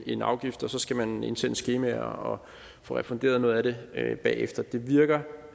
en afgift og så skal man indsende skemaer og få refunderet noget af det det bagefter det virker